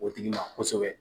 O tigi ma kosɛbɛ